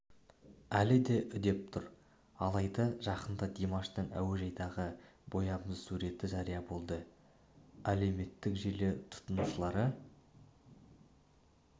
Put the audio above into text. әлі де үдеп тұр алайда жақында димаштың әуежайдағы боямасыз суреті жария болды әлеуметтік желі тұтынушылары